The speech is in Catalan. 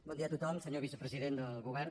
bon dia a tothom senyor vicepresident del govern